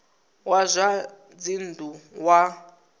wa zwa dzinn ḓu wa